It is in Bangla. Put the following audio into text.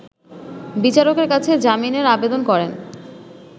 বিচারকের কাছে জামিনের আবেদন করেন